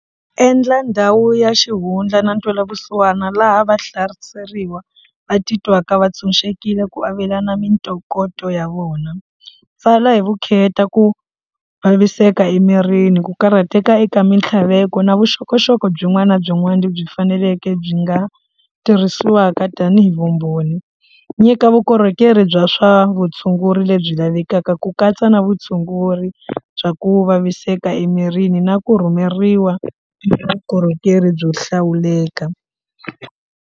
Endla ndhawu ya xihundla na ntwela vusiwana laha va hlaseriwa va titwaka va tshunxekile ku avelana mintokoto ya vona pfala hi vukheta ku vaviseka emirini ku karhateka eka mintlhaveko na vuxokoxoko byin'wana na byin'wana lebyi faneleke byi nga tirhisiwaka tanihi vumbhoni nyika vukorhokeri bya swa vutshunguri lebyi lavekaka ku katsa na vutshunguri bya ku vaviseka emirini na ku rhumeriwa vukorhokeri byo hlawuleka.